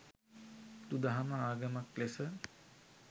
බුදු දහම ආගමක් ලෙස